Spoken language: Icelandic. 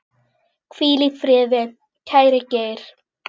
Hvíl í friði, kæri Geir.